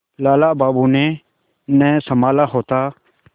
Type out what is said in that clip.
लाला बाबू ने न सँभाला होता